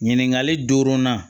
Ɲininkali duurunan